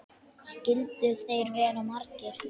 Skyldu þeir vera margir?